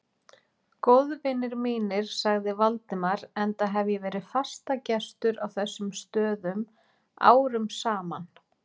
Góðvinir mínir sagði Valdimar, enda hef ég verið fastagestur á þessum stöðum árum saman